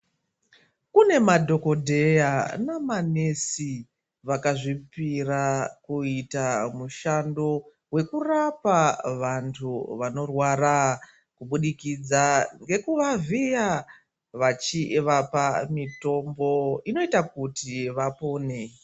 Kune madhokodheya namanesi vakazvipira kuita mushando wekurapa vantu vanorwara kubudikidza ngekuvavhiya vachivapa mitombo inoita kuti vapone.